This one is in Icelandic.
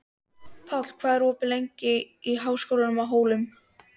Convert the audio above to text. Páll, hvað er opið lengi í Háskólanum á Hólum?